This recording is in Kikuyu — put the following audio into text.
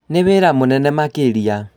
Nĩ wĩra mũnene makĩria